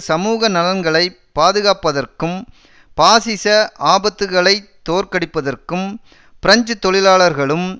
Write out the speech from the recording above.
சமூக நலன்களை பாதுகாப்பதற்கும் பாசிச ஆபத்துக்களைத் தோற்கடிப்பதற்கும் பிரெஞ்சு தொழிலாளர்களும்